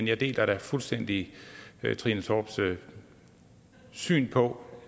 jeg deler da fuldstændig trine torps syn på